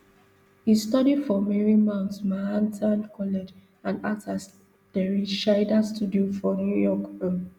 e study for marymount manhattan college and act for terry schreiber studio for new york um